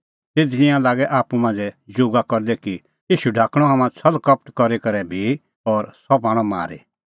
तिधी तिंयां लागै आप्पू मांझ़ै जोगा करदै कि ईशू ढाकणअ हाम्हां छ़ल़कपट करी करै बी और सह पाणअ मारी